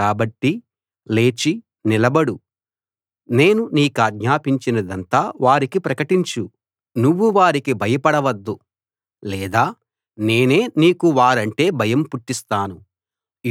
కాబట్టి లేచి నిలబడు నేను నీకాజ్ఞాపించినదంతా వారికి ప్రకటించు నువ్వు వారికి భయపడ వద్దు లేదా నేనే నీకు వారంటే భయం పుట్టిస్తాను